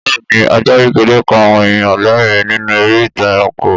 Bẹ́ẹ̀ni ajá kékeré pa àwọn èèyàn lẹ́ẹ̀rín nínú eré ìtàn ẹranko